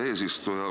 Hea eesistuja!